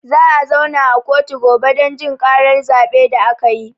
Za a zauna a kotu gobe don jin ƙarar zaɓe da akayi